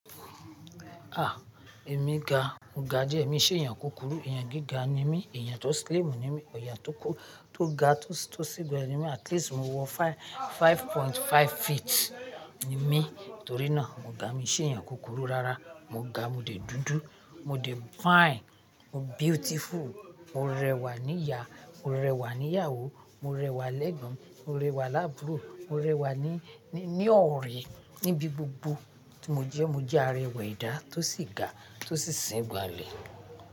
Ah! Èmi ga, mo ga díẹ̀, èmi i ṣé èèyàn kúkúrú, èèyàn gíga ni mí, èèyàn tó slim ni mí, èèyàn tó ga tó sì n gbọnle ni mí. At least mo wọ five point five feet ni mí, torí náà mo ga, mi i ṣé èèyàn kúkúrú rárá. Mo ga, mo de dúdú, mo de fine, mo beautiful, mo rẹwà ní ìyà, mo rẹwà ní ìyàwó, mo rẹwà l'ẹ́gbọ́n, mo rẹwà lábùrú, mo rẹwà ní ọ̀rẹ́, níbi gbogbo tí mo jẹ́ mo jẹ́ arẹwà edá tó sì ga tó sì sìn gbonlẹ̀.